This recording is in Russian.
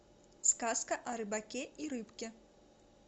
сказка о рыбаке и рыбке